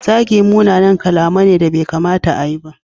Zagi munanan kalamai ne da bai kamata a yi ba.